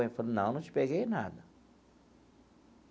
Ela falou, não, não te peguei nada.